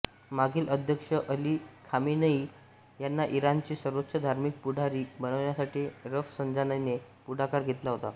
मागील अध्यक्ष Ali Khamenei ह्यांना इराणचे सर्वोच्च धार्मिक पुढारी बनवण्यासाठी रफसंजानीने पुढाकार घेतला होता